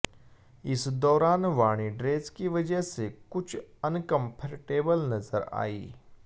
इस दौरान वाणी ड्रेस की वजह से कुछ अनकम्फर्टेबल नजर आईं